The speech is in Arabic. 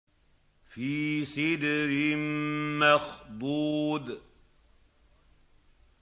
فِي سِدْرٍ مَّخْضُودٍ